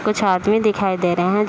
कुछ आदमी दिखाई दे रहे हैं।